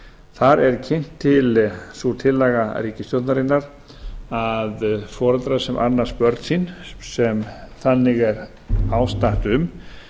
þar er kynnt til sú tillaga ríkisstjórnarinnar að foreldrar sem annast börn sín sem þannig er ástatt um